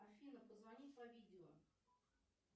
афина позвони по видео